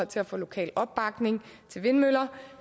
til at få lokal opbakning til vindmøller